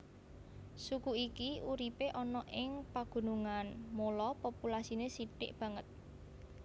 Suku iki uripe ana ing pagunungan mula populasine sithik banget